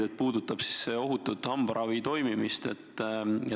See puudutab hambaravi ohutut toimimist.